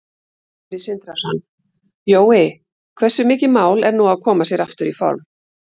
Sindri Sindrason: Jói, hversu mikið mál er nú að koma sér aftur í form?